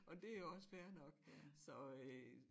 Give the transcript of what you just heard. Og det jo også fair nok så øh